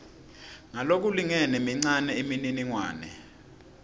ngalokulingene mincane imininingwane